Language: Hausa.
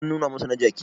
an nuna masa na jiki?